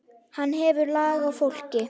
Hann hefur lag á fólki.